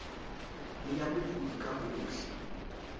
le ya mookodi ka hohle